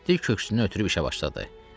Mehdi köksünü ötürərək işə başladı.